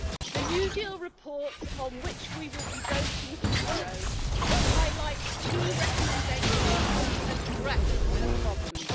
The new deal' report, on which we will be voting tomorrow, highlights key recommendations to address these problems.